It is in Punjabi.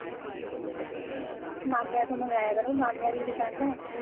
ਮਾਮਿਆ ਤੋਂ ਮਗਾਇਆ ਕਰੋ ਮਾਮਿਆ ਦੀਆ ਦੁਕਾਨਾਂ ਐ